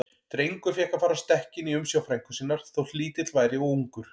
Drengur fékk að fara á stekkinn í umsjá frænku sinnar, þótt lítill væri og ungur.